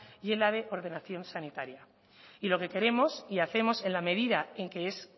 y en la de ordenación sanitaria y lo que queremos y hacemos en la medida en que es